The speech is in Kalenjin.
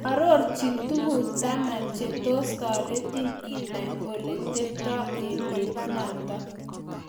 orochi tuguk taman che tos taretin inai ole teptai emet nato